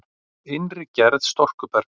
Innri gerð storkubergs